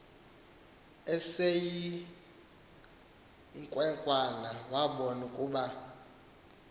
eseyinkwenkwana wabona ukuba